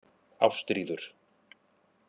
Ástríður